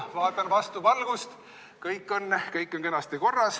Vaatan vastu valgust, kõik on kenasti korras.